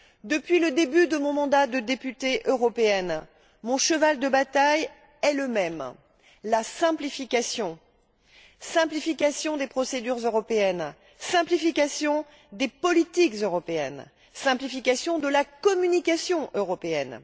Depuis le début de mon mandat de députée européenne, mon cheval de bataille est le même, la simplification simplification des procédures européennes, simplification des politiques européennes, simplification de la communication européenne.